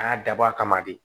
A y'a dabɔ a kama de